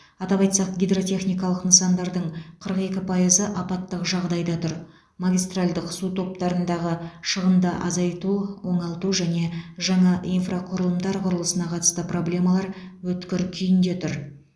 атап айтсақ гидротехникалық нысандардың қырық екі пайызы апаттық жағдайда тұр магистральдық су топтарындағы шығынды азайту оңалту және жаңа инфрақұрылымдар құрылысына қатысты проблемалар өткір күйінде тұр